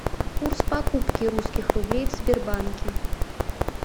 курс покупки русских рублей в сбербанке